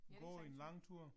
Ja, det sandsynligt